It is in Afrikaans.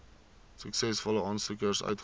suksesvolle aansoekers uitgereik